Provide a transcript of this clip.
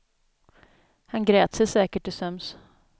Han grät sig säkert till sömns.